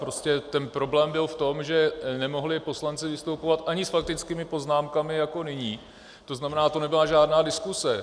Prostě ten problém byl v tom, že nemohli poslanci vystupovat ani s faktickými poznámkami jako nyní, to znamená, to nebyla žádná diskuze.